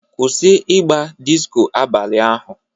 Kwụsị ịga disko abalị ahu